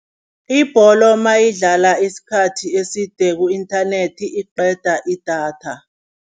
Ibholo mayidlala isikhathi eside ku-internet iqeda idatha.